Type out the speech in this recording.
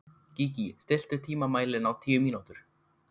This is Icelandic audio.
Gígí, stilltu tímamælinn á tíu mínútur.